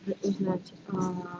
узнать